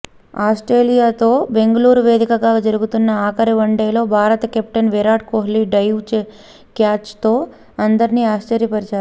ఆస్ట్రేలియాతో బెంగళూరు వేదికగా జరుగుతున్న ఆఖరి వన్డేలో భారత కెప్టెన్ విరాట్ కోహ్లీ డైవ్ క్యాచ్తో అందర్నీ ఆశ్చర్యపరిచాడు